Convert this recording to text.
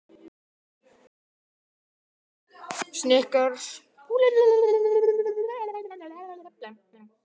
Kristján: Heldurðu að Vestfirðingar kunni ekki að meta þetta en aðrir landsmenn?